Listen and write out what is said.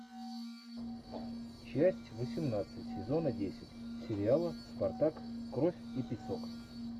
часть восемнадцать сезона десять сериала спартак кровь и песок